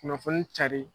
Kunnafoni cari